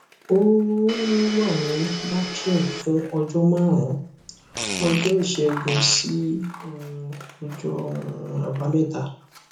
àyà ń fò mí torí nǹkan jáde lára mi ẹjẹ sì wà nínú rẹ